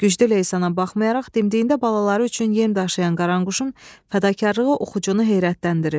Güclü leysana baxmayaraq dimdiyində balaları üçün yem daşıyan qaranquşun fədakarlığı oxucunu heyrətləndirir.